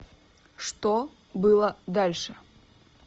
что было дальше